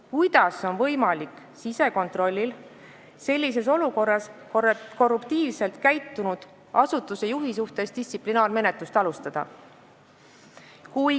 Kuidas on sisekontrollil sellises olukorras võimalik korruptiivselt käitunud asutuse juhi suhtes distsiplinaarmenetlust alustada?